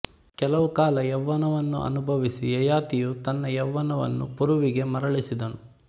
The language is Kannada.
ಕೆಲವು ಕಾಲ ಯೌವನವನ್ನು ಅನುಭವಿಸಿ ಯಯಾತಿಯು ತನ್ನ ಯೌವನವನ್ನು ಪುರುವಿಗೆ ಮರಳಿಸಿದನು